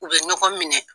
U bɛ ɲɔgɔn minɛ